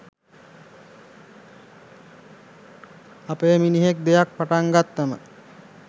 අපේ මිනිහෙක් දෙයක් පටන් ගත්තම